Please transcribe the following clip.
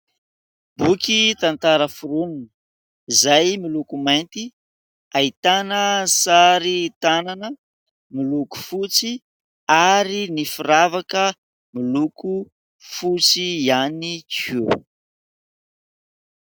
Boky tantara foronina izay miloko mainty. Ahitana sary tànana miloko fotsy ary ny firavaka miloko fotsy ihany koa.